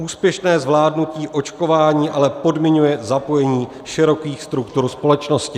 Úspěšné zvládnutí očkování ale podmiňuje zapojení širokých struktur společnosti."